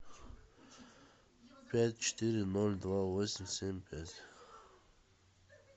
пять четыре ноль два восемь семь пять